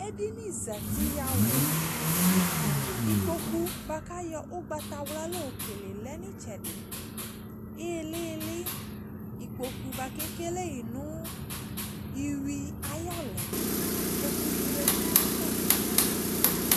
Edene zati yawla Ikpoku boako ayɔ ugbatawla lɔ kele lɛ no itsɛde ilele, ikpoku boako ekele ye no iwi ayɔlɛna kɛ ku ne yadu nava Ikpoku t